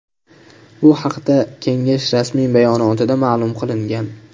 Bu haqda kengash rasmiy bayonotida ma’lum qilingan .